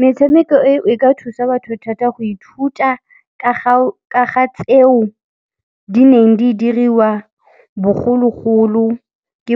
Metshameko eo, e ka thusa batho thata go ithuta ka ga tseo di neng di diriwa bogologolo ke